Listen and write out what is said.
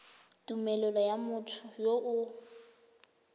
tumelelo ya motho yo o